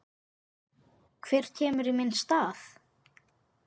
Hver kemur í minn stað?